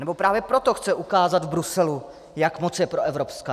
Anebo právě proto chce ukázat v Bruselu, jak moc je proevropská.